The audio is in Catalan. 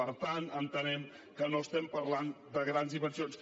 per tant entenem que no estem parlant de grans dimensions